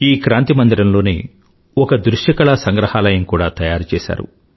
ఈ క్రాంతి మందిరంలోనే ఒక దృశ్యకళా సంగ్రహాలయం కూడా తయారుచేసారు